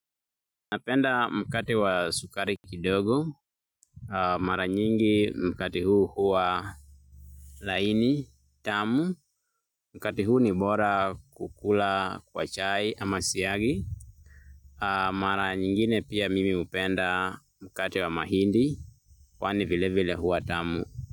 Napenda mkate wa sukari kidogo. Napenda mkate wa sukari kidogo. Mkate huu ni bora kukula kwa chai ama siagi. Mara nyingine pia mimi hupenda mkate wa mahindi. Kwani vile vile huwa tamu.